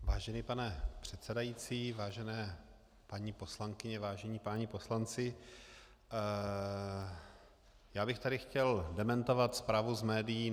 Vážený pane předsedající, vážené paní poslankyně, vážení páni poslanci, já bych tady chtěl dementovat zprávu z médií.